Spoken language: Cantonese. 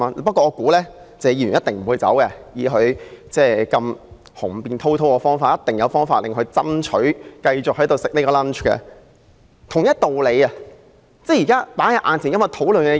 "不過，我想謝議員一定不會離開，他如此雄辯滔滔，一定有方法爭取繼續在那裏享用午餐。